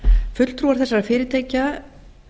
fulltrúar þessara fyrirtækja